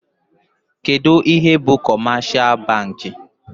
Kedụ ihe bụ kọmeshal bankị?